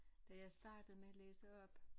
Da jeg startede med at læse op